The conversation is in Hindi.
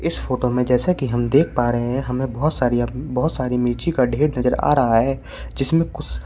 इस फोटो में जैसा कि हम देख पा रहे हैं हमे बहोत सारी बहोत सारी मिर्ची का ढेर नजर आ रहा है जिसमें कुछ--